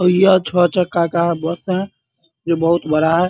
और यह छ चक्का का बस है जो बहुत बड़ा है ।